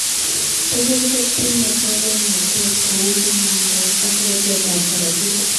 Tugul kotinye koromnatet kou kanamndaet aka ratetab korotik